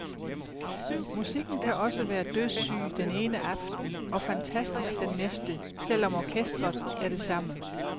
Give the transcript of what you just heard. Musikken kan også være dødssyg den ene aften og fantastisk den næste, selv om orkesteret er det samme.